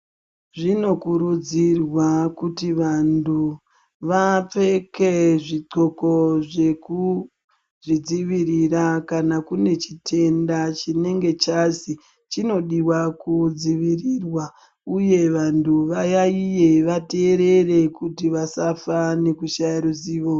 Zvinokurudzirwa kuti vantu vapfeke zvi ndxoko zvekuzvi dzivirira kana kune chitenda chinenge chazi chinodiwa ku dzivirirwa uye vantu vayayiye va teerere kuti vasafa nekushaya ruzivo.